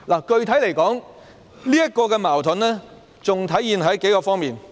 具體來說，這個矛盾還出現在數方面。